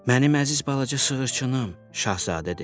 Mənim əziz balaca sığırçınım, Şahzadə dedi.